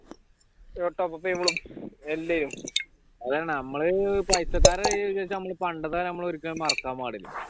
അതാണ് നമ്മൾ പൈസക്കാരായി എന്ന് വെച്ച് നമ്മൾ പണ്ടത്തെ ഒരിക്കലും മറക്കാൻ പാടില്ല